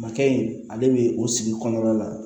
Makɛ in ale bɛ o sigi kɔnɔna la